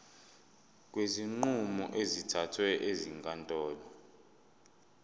kwezinqumo ezithathwe ezinkantolo